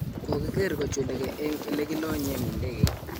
Kokiger kochulege eng elekilonyen idegeit.